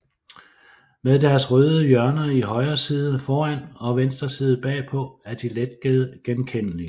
Med deres røde hjørner i højre side foran og venstre side bagpå er de let genkendelige